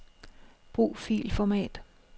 Brug filformat.